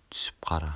түсіп қара